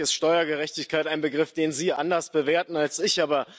Natürlich ist Steuergerechtigkeit ein Begriff, den Sie anders bewerten als ich.